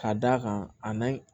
Ka d'a kan a n'a